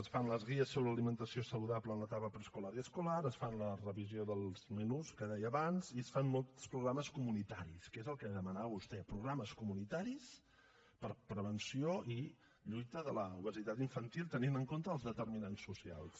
es fan les guies sobre alimentació saludable en l’etapa preescolar i escolar es fa la revisió dels menús que deia abans i es fan molts programes comunitaris que és el que demanava vostè programes comunitaris per a prevenció i lluita contra l’obesitat infantil tenint en compte els determinants socials